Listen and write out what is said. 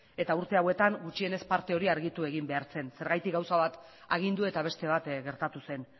eta urte hauetan gutxienez parte hori argitu egin behar zen zergatik gauza bat agindu eta beste bat gertatu zen